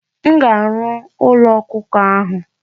M ga-arụ ụlọ ọkụkọ ahụ.